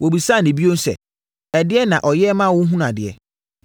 Wɔbisaa no bio sɛ, “Ɛdeɛn na ɔyɛɛ wo ma wohunuu adeɛ?”